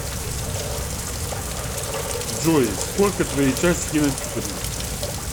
джой сколько твои часики натикали